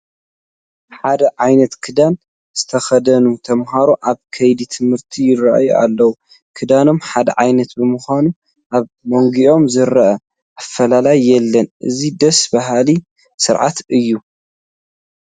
ሓደ ዓይነት ክዳን ዝተኸደኑ ተመሃሮ ኣብ ከይዲ ትምህርቲ ይርአዩ ኣለዉ፡፡ ክዳኖም ሓደ ዓይነት ብምዃኑ ኣብ መጐኦም ዝርአ ኣፈላላይ የለን፡፡ እዚ ደስ በሃሊ ስርዓት እዩ፡፡